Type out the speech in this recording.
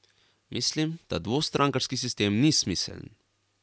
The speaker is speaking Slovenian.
Mislim, da dvostrankarski sistem ni smiseln.